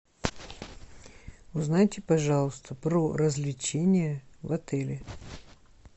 узнайте пожалуйста про развлечения в отеле